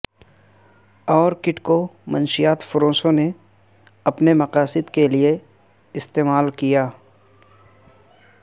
Orkut کو منشیات فروشوں نے اپنے مقاصد کے لیے استعمال کیا